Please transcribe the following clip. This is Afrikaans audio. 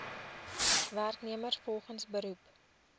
werknemers volgens beroep